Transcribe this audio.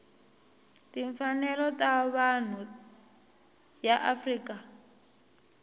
timfanelo ta vanhu ya afrika